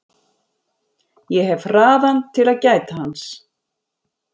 Ég hef hraðann til að gæta hans.